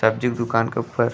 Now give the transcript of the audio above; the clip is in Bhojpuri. सब्जी के दुकान के ऊपर --